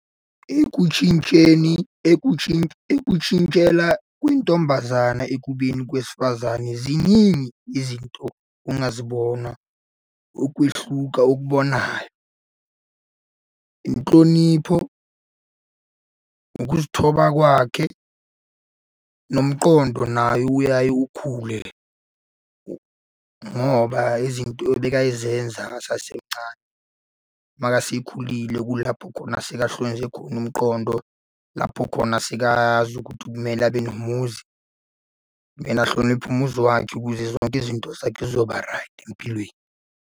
Ekutshintsheni ekutshintshela kwintombazane ekubeni kwesifazane ziningi izinto ongazibona ukwehluka okubonayo. Inhlonipho, ukuzithoba kwakhe, nomqondo naye uyaye ukhule, ngoba izinto ebekayizenza esasemancane. Makasekhulile kulapho khona sekahlukanise khona umqondo, lapho khona sekazi ukuthi kumele abe nomuzi. Mele ahloniphe umuzi wakhe ukuze zonke izinto zakhe zizoba-right empilweni.